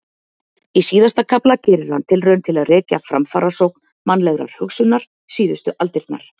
Í síðasta kafla gerir hann tilraun til að rekja framfarasókn mannlegrar hugsunar síðustu aldirnar.